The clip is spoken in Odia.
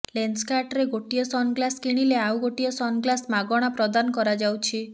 ଲେନ୍ସକାର୍ଟରେ ଗୋଟିଏ ସନ୍ଗ୍ଲାସ କିଣିଲେ ଆଉ ଗୋଟିଏ ସନ୍ଗ୍ଲାସ ମାଗଣା ପ୍ରଦାନ କରାଯାଉଛି